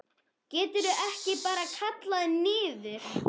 Geturðu ekki bara kallað niður?